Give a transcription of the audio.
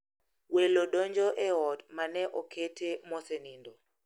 Welo donjo e ot ma ne okete mosenindo.